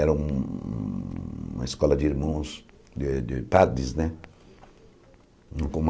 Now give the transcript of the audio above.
Era um um uma escola de irmãos, de de padres, né?